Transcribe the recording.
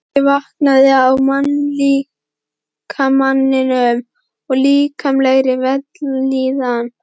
Áhugi vaknaði á mannslíkamanum og líkamlegri vellíðan.